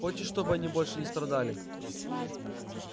хочешь чтобы они больше не страдали